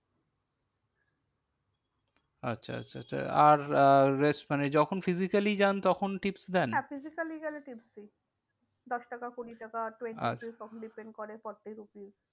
আচ্ছা আচ্ছা আচ্ছা আর আহ মানে যখন physically যান তখন tips দেন? হ্যাঁ physically গেলে tips দিই দশ টাকা কুড়ি টাকা depend করে forty rupees